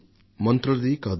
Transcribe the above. మంత్రులది కాదు